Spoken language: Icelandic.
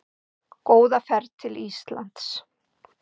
Góða ferð til Íslands!